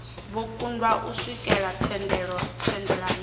vho kundwa u swikelela thendelano